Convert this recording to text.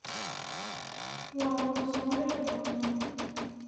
Walukusowicidona.